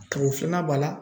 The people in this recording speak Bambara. tago filanan b'a la